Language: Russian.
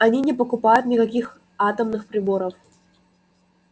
они не покупают никаких атомных приборов